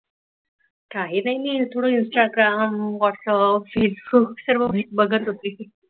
काही नाही मी थोड इन्स्टाग्राम, वाट्सप, फेसबुक सगळ बघत होती.